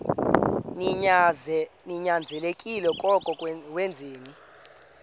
ninyanzelekile koko wenzeni